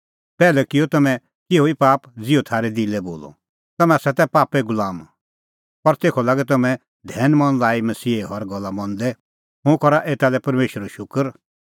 पैहलै किअ तम्हैं तिहअ पाप ज़िहअ थारै दिलै बोलअ तम्हैं तै पापे गुलाम पर तेखअ लागै तम्हैं धैनमन लाई मसीहे हर गल्ला मंदै हुंह करा एता लै परमेशरो शूकर